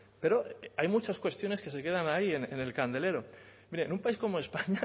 pero hay muchas cuestiones que se quedan ahí en el candelero hombre en un país como españa